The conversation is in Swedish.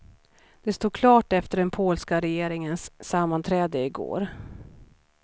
Det stod klart efter den polska regeringens sammanträde i går.